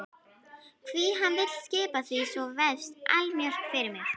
Hví hann vill skipa því svo vefst allmjög fyrir mér.